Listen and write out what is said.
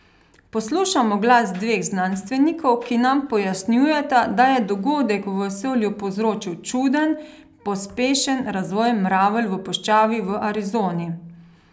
Poslušamo glas dveh znanstvenikov, ki nam pojasnjujeta, da je dogodek v vesolju povzročil čuden, pospešen razvoj mravelj v puščavi v Arizoni.